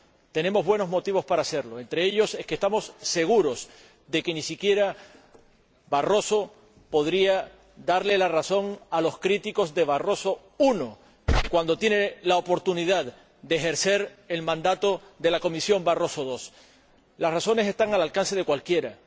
Tenemos buenos motivos para hacerlo entre ellos, que estamos seguros de que ni siquiera el señor Barroso podría darles la razón a los críticos de Barroso I cuando tiene la oportunidad de ejercer el mandato de la Comisión Barroso II. Las razones están al alcance de cualquiera.